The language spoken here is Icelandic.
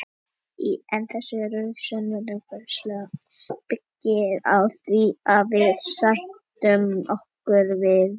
en þessi röksemdafærsla byggir á því að við sættum okkur við tvennt